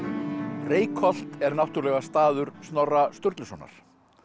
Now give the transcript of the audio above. Reykholt er náttúrulega staður Snorra Sturlusonar